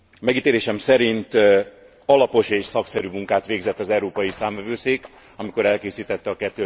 Megítélésem szerint alapos és szakszerű munkát végzett az Európai Számvevőszék, amikor elkészítette a